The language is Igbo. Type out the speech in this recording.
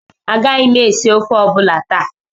Agaghị m esi ofe ọ bụla taa